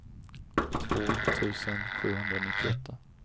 två tusen sjuhundranittioåtta